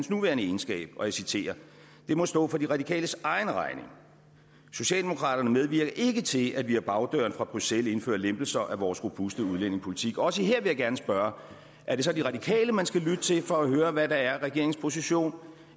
nuværende egenskab og jeg citerer det må stå for de radikales egen regning socialdemokraterne medvirker ikke til at vi ad bagdøren fra bruxelles indfører lempelser af vores robuste udlændingepolitik også her vil jeg gerne spørge er det så de radikale man skal lytte til for at høre hvad der er regeringens position